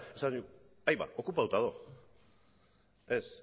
esaten du aiba okupatuta dago ez